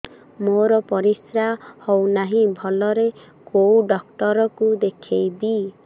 ମୋର ପରିଶ୍ରା ହଉନାହିଁ ଭଲରେ କୋଉ ଡକ୍ଟର କୁ ଦେଖେଇବି